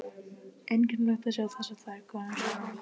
Einkennilegt að sjá þessar tvær konur saman.